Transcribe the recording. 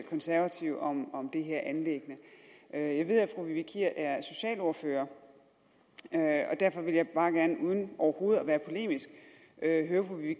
konservative om om det her anliggende jeg ved at fru vivi kier er socialordfører og derfor vil jeg bare gerne uden overhovedet at være polemisk høre fru vivi